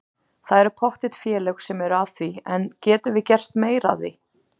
Það eru pottþétt félög sem eru að því en getum við gert meira af því?